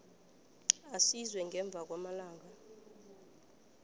aziswe ngemva kwamalanga